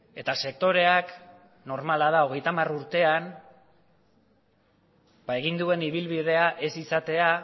eta sektoreak normala da hogeita hamar urtean egin duen ibilbidea ez izatea